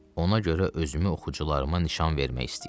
Ona görə özümü oxucularıma nişan vermək istəyirəm.